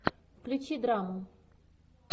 включи драму